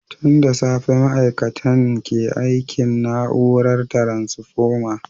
Tun da safe ma’aikatan ke aikin na’urar taransfoma.